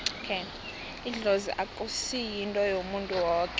idlozi akusi yinto yomuntu woke